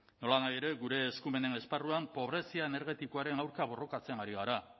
nolanahi ere gure eskumenen esparruan pobrezia energetikoaren aurka borrokatzen ari gara